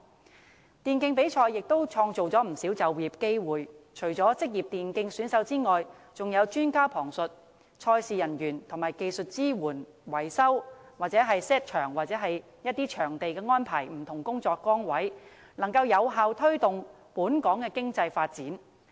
此外，電競比賽亦可創造不少就業機會，除職業電競選手外，還有旁述專家、賽事人員，以及負責技術支援、維修或布置場地等不同工作崗位，能夠有效推動本港的經濟發展。